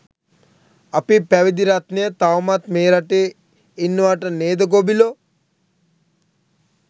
අපේ පැවිදි රත්නය තවමත් මේ රටේ ඉන්නවට නේද ගොබිලෝ?